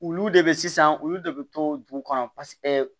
Olu de bɛ sisan olu de bɛ to dugu kɔnɔ paseke